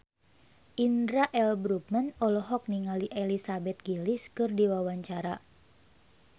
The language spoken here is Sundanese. Indra L. Bruggman olohok ningali Elizabeth Gillies keur diwawancara